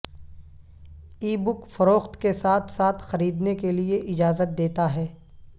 ای بک فروخت کے ساتھ ساتھ خریدنے کے لئے اجازت دیتا ہے